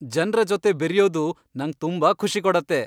ಜನ್ರ ಜೊತೆ ಬೆರೆಯೋದು ನಂಗ್ ತುಂಬಾ ಖುಷಿ ಕೊಡತ್ತೆ.